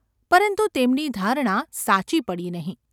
પરંતુ તેમની ધારણા સાચી પડી નહિં.